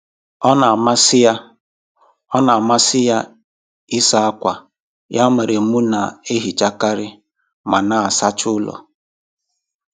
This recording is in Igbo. Ọ na amasị Ọ na amasị ya ịsa akwa, ya mere mụ na ehichakari ma na asacha ụlọ